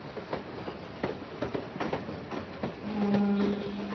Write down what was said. മ്